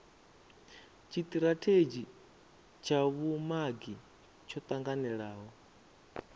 tshitirathedzhi tsha vhumagi tsho tanganelaho